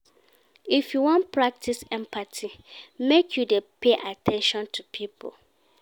If you wan practice empathy, make you dey pay at ten tion to pipo.